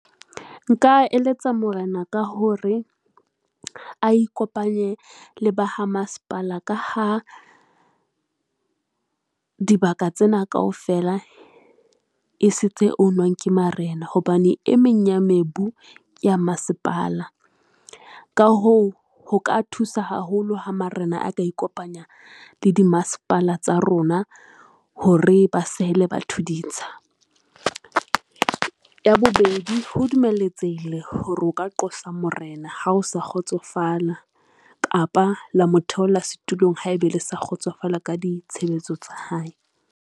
Nka eletsa morena ka hore a ikopanye le ba ha masepala ka ha dibaka tsena kaofela e se tse own-nwang ke marena hobane e meng ya mebu ke ya masepala. Ka ho ho ka thusa haholo ha marena a ka ikopanya le di masepala tsa rona hore ba sehele batho ditsha. Ya bobedi, ho dumeletsehile hore o ka qosa morena ha o sa kgotsofala kapa la motheolla setulong, haebe le sa kgotsofala ka ditshebetso tsa hae.